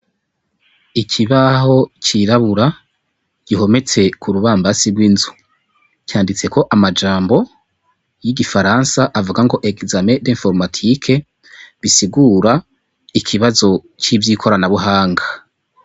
Ikibaho c'irabura gihometse kurubambazi rw'inzu handitseko amajambo y'igifaransa avuga ngo examen d'informatique bisigura ikibazo c'ivyikoranabuhanga.